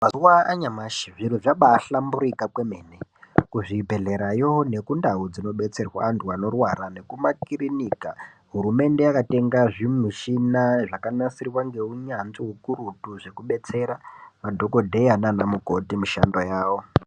Mazuva anyamashi zvirozvabahlamburika kwemene kuzvibhedherayo nekundau dzinobetserwa antu anorwara nekumakirinika. Hurumende yakatenga zvimichina zvakanasirwa ngeunyanzvi hukurutu zvekubetsera madhogodheya nana mukoti mushando yavo.